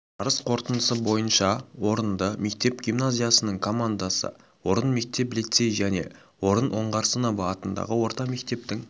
жарыс қорытындысы бойынша орынды мектеп гимназиясының командасы орын мектеп лицей және орын оңғарсынова атындағы орта мектептің